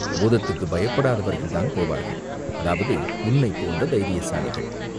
பூதத்துக்குப் பயப்படாதவர்கள்தான் போவார்கள்." "அதாவது உன்னைப் போன்ற தைரியசாலிகள்.